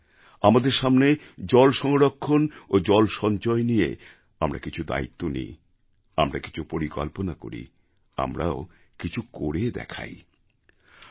আমরা আগামীদিনে জলসংরক্ষণ ও জলসঞ্চয় নিয়ে বেশ কিছু দায়িত্ব নিতে পারি কিছু পরিকল্পনা গ্রহণ করতে পারি এবং কিছু করে দেখাতে পারি